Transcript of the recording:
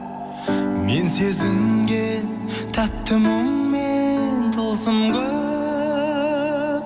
мен сезінген тәтті мұңмен тылсым көп